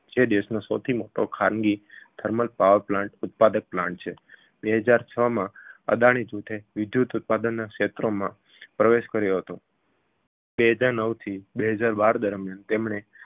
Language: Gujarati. જે દેશનો સૌથી મોટો ખાનગી thermal power plant ઉત્પાદક plant છે બે હજાર છ માં અદાણી જૂથે વિદ્યુત ઉત્પાદન ક્ષેત્રમાં પ્રવેશ કર્યો હતો બે હજાર નવ થી બે હજાર બાર દરમિયાન તેમણે